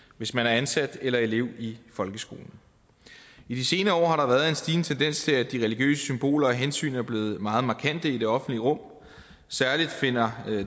hvis man er ansat eller elev i folkeskolen i de senere år har der været en stigende tendens til at de religiøse symboler og hensyn er blevet meget markante i det offentlige rum særlig finder